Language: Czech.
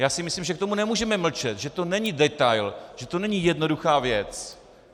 Já si myslím, že k tomu nemůžeme mlčet, že to není detail, že to není jednoduchá věc.